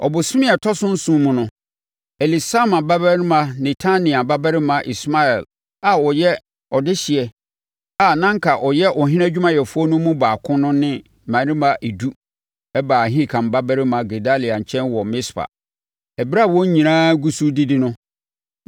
Ɔbosome a ɛtɔ so nson mu no, Elisama babarima Netania babarima Ismael a ɔyɛ ɔdehyeɛ a na anka ɔyɛ ɔhene adwumayɛfoɔ no mu baako no ne mmarima edu baa Ahikam babarima Gedalia nkyɛn wɔ Mispa. Ɛberɛ a wɔn nyinaa gu so redidi no,